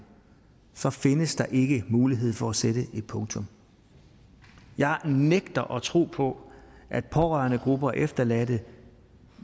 så findes der ikke mulighed for at sætte et punktum jeg nægter at tro på at pårørendegrupper og efterladte